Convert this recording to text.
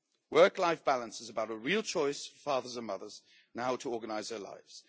Work life balance is about a real choice for fathers and mothers on how to organise their lives.